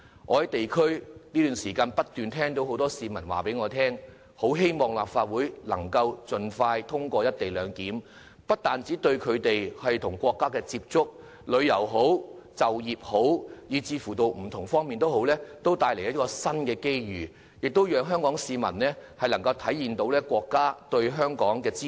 我最近在地區工作時不斷有市民告訴我，表示希望立法會可以盡快通過《條例草案》，這不單對他們與國家的接觸、旅遊、就業等不同方面帶來新機遇，亦讓香港市民得益於國家對香港的支持。